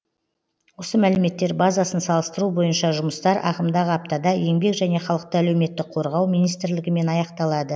осы мәліметтер базасын салыстыру бойынша жұмыстар ағымдағы аптада еңбек және халықты әлеуметтік қорғау министрлігімен аяқталады